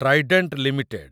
Trident limited